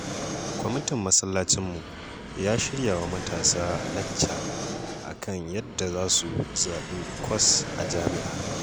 Kwamitin masallacinmu ya shirya wa matasa lacca a kan yadda za su zaɓi kwas a jami'a.